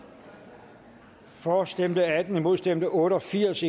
for stemte atten imod stemte otte og firs